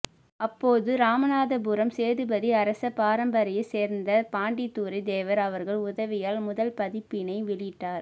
அப்போது இராமநாதபுரம் சேதுபதி அரச பரம்பரையை சேரந்த பாண்டித்துரை தேவர் அவர்கள் உதவியால் முதல் பதிப்பினை வெளியிட்டார்